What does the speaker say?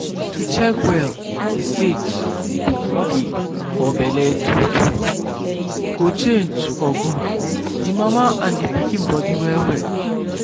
to check well the stage the pikin dey for belle true true go change for good the mama and pikin body well well.